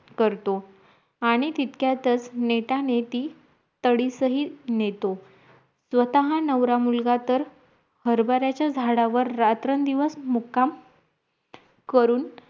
करतो आणी तितक्याताच नेत्यानेती तडीसही नेतो स्वतः नवरा मुलगा तर हरभराचा झाडावर रात्रंदिवस दिवस मुक्काम करून